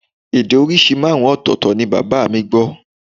Èdè oríṣiríṣi márùn-ún ọ̀tọ̀ọ̀tọ̀ ni bàbá mi gbọ́